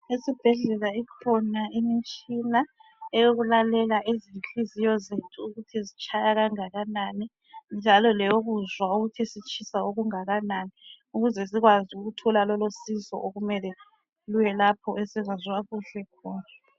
Esibhedlela ikhona imitshina eyokulalela izinhliziyo zethu ukuthi zitshaya kangakanani njalo leyokuzwa ukuthi sitshisa okungakanani, ukuze sikwazi ukuthola lolo sizo okumele luye lapho esingezwa kuhle khona.